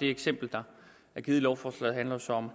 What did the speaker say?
det eksempel der er givet i lovforslaget handler så om